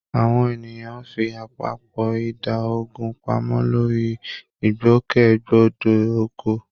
Àwọn ènìyàn fi àpapọ̀ ìdá ogún pamọ́ lórí ìgbòkègbodò ọkọ̀